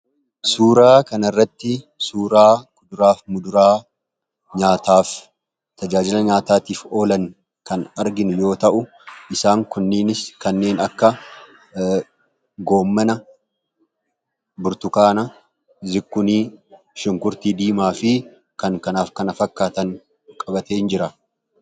suuraa kanairratti suuraa kuduraaf muduraa nyaataaf tajaajila nyaataatiif oolan kan argin yoo ta'u isaan kunnienis kanneen akka goommana burtukaana zikunii shinkurtii diimaa fi kankanaaf kana fakkaatan qabateen jira.